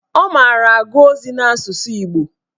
Ọ mara agụ ozi n'asụsụ Igbo